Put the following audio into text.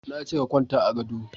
Na ce ka kwanta a gado